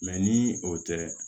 ni o tɛ